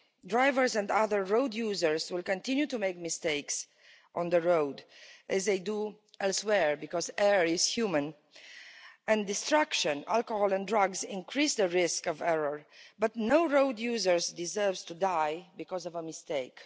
it. Drivers and other road users will continue to make mistakes on the road as they do elsewhere, because to err is human and distractions, alcohol and drugs increase the risk of error, but no road user deserves to die because of a mistake.